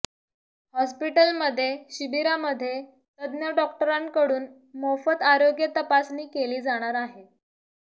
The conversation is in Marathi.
हॉस्पिटलमध्ये शिबिरामध्ये तज्ज्ञ डॉक्टरांकडून मोफत आरोग्य तपासणी केली जाणार आहे